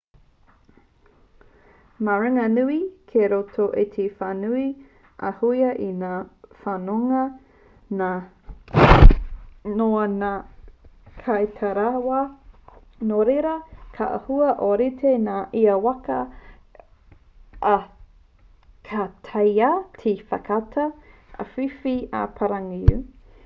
maringanui kei roto i te whānui āhua ū ngā whanonga noa o ngā kaitaraiwa nō reira ka āhua ōrite ngā ia waka ā ka taea te whakaata āwhiwhi ā-pāngarau